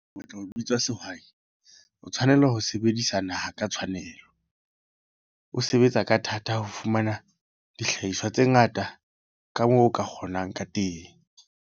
Ho tlo bitswa sehwai, o tshwanela ho sebedisa naha ka tshwanelo, o sebetsa ka thata ho fumana dihlahiswa tse ngata ka moo o ka kgonang ka teng.